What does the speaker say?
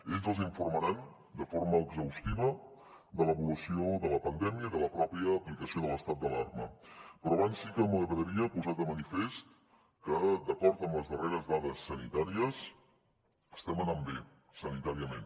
ells els informaran de forma exhaustiva de l’evolució de la pandèmia i de l’aplicació de l’estat d’alarma però abans sí que m’agradaria posar de manifest que d’acord amb les darreres dades sanitàries estem anant bé sanitàriament